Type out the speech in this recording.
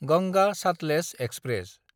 Ganga Sutlej express